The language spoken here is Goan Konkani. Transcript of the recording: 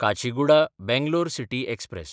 काचीगुडा–बेंगलोर सिटी एक्सप्रॅस